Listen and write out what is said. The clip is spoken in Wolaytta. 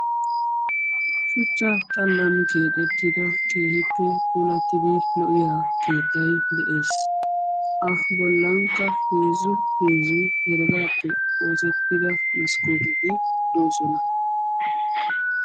shuchcha xalan keexetida keehippe lo'iya keettay de'ees. eta bolankka heezzu heezzu heregappe oosettida maskootetti de'oosona.